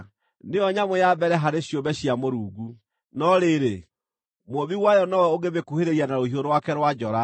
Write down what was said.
Nĩyo nyamũ ya mbere harĩ ciũmbe cia Mũrungu, no rĩrĩ, Mũũmbi wayo nowe ũngĩmĩkuhĩrĩria na rũhiũ rwake rwa njora.